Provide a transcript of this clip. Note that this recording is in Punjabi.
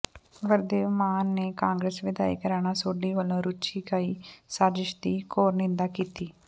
ਵਰਦੇਵ ਮਾਨ ਨੇ ਕਾਂਗਰਸ ਵਿਧਾਇਕ ਰਾਣਾ ਸੋਢੀ ਵਲੋਂ ਰਚੀ ਗਈ ਸਾਜ਼ਿਸ਼ ਦੀ ਘੋਰ ਨਿੰਦਾ ਕੀਤੀ